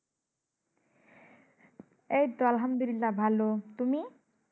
এইতো আলহামদুল্লিহ ভালো। তুমি?